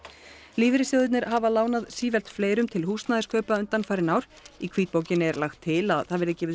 lífeyrissjóðirnir hafa lánað sífellt fleirum til húsnæðiskaupa undanfarin ár í hvítbókinni er lagt til að það verði gefið